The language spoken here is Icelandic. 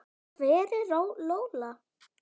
Hver er Lola?